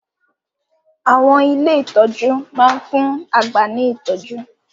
Àwọn ilé ìtọ́jú máa ń fún àgbà ní ìtọ́jú